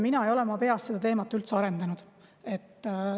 Teate, mina ei ole oma peas seda teemat üldse arendanud.